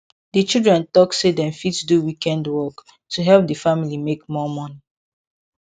di children talk say dem fit do weekend work to help di family make more money